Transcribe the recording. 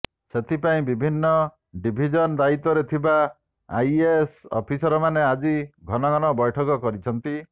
ସେଥିପାଇଁ ବିଭିନ୍ନ ଡିଭିଜନ୍ ଦାୟିତ୍ବରେ ଥିବା ଆଇଏଏସ୍ ଅଫିସରମାନେ ଆଜି ଘନଘନ ବ୘ଠକ କରିଛନ୍ତି